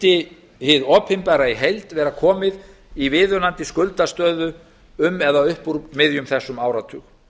mundi hið opinbera í heild vera komið í viðunandi skuldastöðu um eða upp úr miðjum þessum áratug